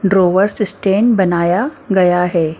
ड्रोवर्स stand बनाया गया है ।